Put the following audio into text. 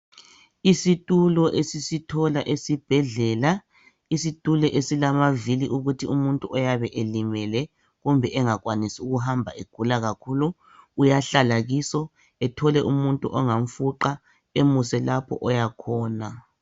Isitulo esisithola esibhedlela isitulo esilamavili ukuthi umuntu oyabe elimele kumbe umuntu oyabe engakwanisi ukuhamba egula kakhulu uyahlala kuso ethole umuntu ongamfuqa lapha ayabe esiya khona.